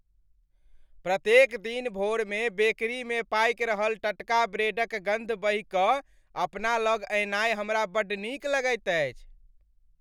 प्रत्येक दिन भोरमे बेकरीमे पाकि रहल टटका ब्रेडक गन्ध बहिकऽ अपना लग अयनाइ हमरा बड्ड नीक लगैत अछि।